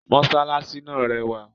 Mosalasi náà rẹwà